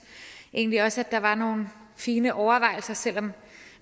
egentlig også at der var nogle fine overvejelser selv om